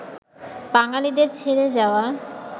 বাঙালিদের ছেড়ে যাওয়া